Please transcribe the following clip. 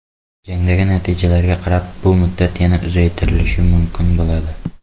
Jangdagi natijalarga qarab bu muddat yana uzaytirilishi mumkin bo‘ladi.